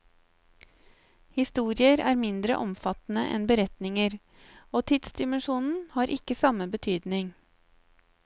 Historier er mindre omfattende enn beretninger, og tidsdimensjonen har ikke samme betydning.